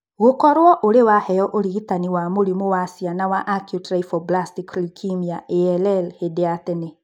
Gũkorũo ũrĩ waheo ũrigitani wa mũrimũ wa ciana wa acute lymphoblastic leukemia (ALL) hĩndĩ ya tene.